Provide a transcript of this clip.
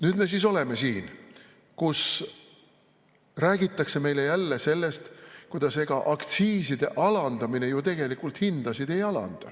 Nüüd me siis oleme siin, kus räägitakse meile jälle sellest, kuidas aktsiiside alandamine ju tegelikult hindasid ei alanda.